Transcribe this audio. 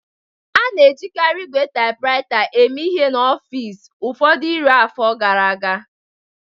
A na-ejikarị ígwè typewriter eme ihe n'ọfịs ụfọdụ iri afọ gara aga